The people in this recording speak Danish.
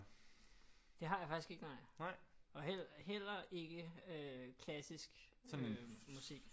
Det har jeg faktisk ikke nej og heller ikke øh klassisk musik